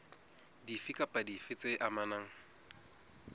dife kapa dife tse amanang